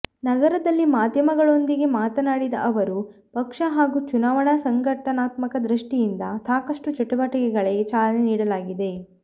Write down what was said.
ನಗರದಲ್ಲಿ ಮಾಧ್ಯಮಗಳೊಂದಿಗೆ ಮಾತನಾಡಿದ ಅವರು ಪಕ್ಷ ಹಾಗೂ ಚುನಾವಣಾ ಸಂಘಟನಾತ್ಮಕ ದೃಷ್ಠಿಯಿಂದ ಸಾಕಷ್ಟು ಚಟುವಟಿಕೆಗಳಿಗೆ ಚಾಲನೆ ನೀಡಲಾಗಿದೆ